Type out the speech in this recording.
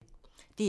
DR1